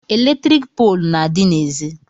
Eletrik poolu na-adị n'ezi